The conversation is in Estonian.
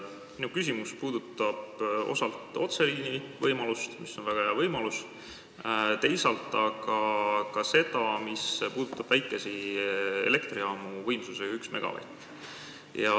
Minu küsimus puudutab osalt otseliini võimalust, mis on väga hea võimalus, teisalt aga väikesi elektrijaamu võimsusega 1 megavatt.